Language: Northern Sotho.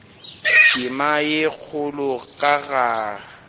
tema ye kgolo ka ge